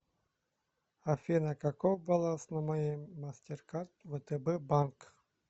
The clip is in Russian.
афина каков баланс на моей мастеркард втб банк